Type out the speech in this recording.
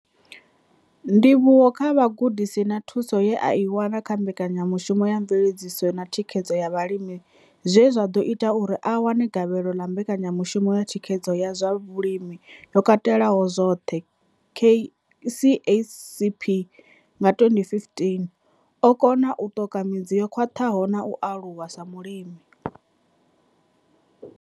Ndivhuwo kha vhugudisi na thuso ye a i wana kha Mbekanya mushumo ya Mveledziso na Thikhedzo ya Vhalimi zwe zwa ḓo ita uri a wane gavhelo ḽa Mbekanya mushumo ya Thikhedzo ya zwa Vhulimi yo Katelaho zwoṱhe, KCASP, nga 2015, o kona u ṱoka midzi yo khwaṱhaho na u aluwa sa mulimi.